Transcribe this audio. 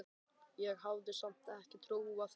Ég hafði samt ekki trúað þeim.